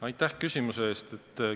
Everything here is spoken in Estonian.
Aitäh küsimuse eest!